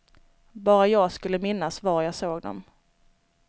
Bara jag skulle minnas var jag såg dem.